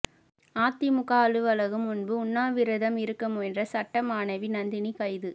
அதிமுக அலுவலகம் முன்பு உண்ணாவிரதம் இருக்க முயன்ற சட்ட மாணவி நந்தினி கைது